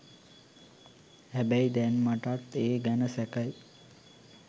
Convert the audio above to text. හැබැයි දැන් මටත් ඒ ගැන සැකයි